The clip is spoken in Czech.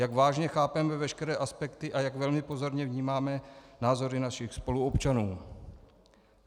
Jak vážně chápeme veškeré aspekty a jak velmi pozorně vnímáme názory našich spoluobčanů.